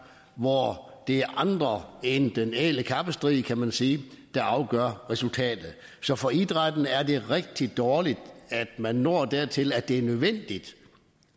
hvor det er andre end den ædle kappestrid kan man sige der afgør resultatet så for idrætten er det rigtig dårligt at man når dertil at det er nødvendigt